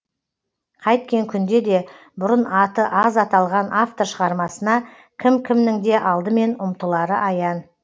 қайткен күнде де бұрын аты аз аталған автор шығармасына кім кімнің де алдымен ұмтылары аян